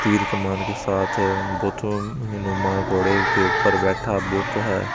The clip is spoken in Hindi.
तीर कमान के साथ है घोड़े के ऊपर बेठा है।